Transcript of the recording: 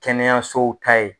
Kɛnɛyasow ta ye.